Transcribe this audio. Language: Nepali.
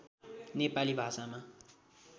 नेपाली भाषामा